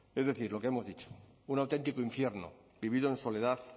es decir lo que hemos dicho un auténtico infierno vivido en soledad